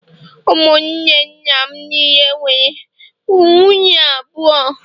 Ụmụnne nna m niile nwere nwunye abụọ